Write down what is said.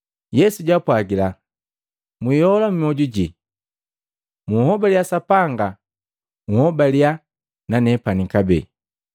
Yesu jwaapwagila, “Mwiola myoju jii. Munhobaliya Sapanga, nhobalia na nepani kabee.